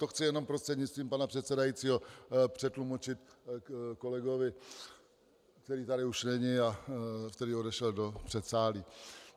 To chci jenom prostřednictvím pana předsedajícího přetlumočit kolegovi, který tady už není a který odešel do předsálí.